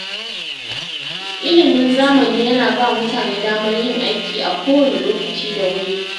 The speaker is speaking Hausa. Ilimin zamani yana ba mutane damar yin aiki a kowane lokaci da wuri.